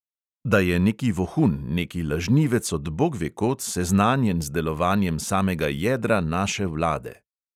Da je neki vohun, neki lažnivec od bogvekod seznanjen z delovanjem samega jedra naše vlade!